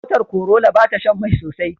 Motar Corolla bata Shan Mai sosai